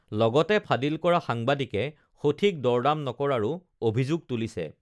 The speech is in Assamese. লগতে ফাদিল কৰা সাংবাদিকে সঠিক দৰদাম নকৰাৰো অভিযোগ তুলিছে